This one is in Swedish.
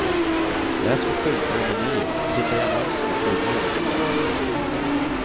Läs på skyltar och menyer, titta i annonser i tidningarna.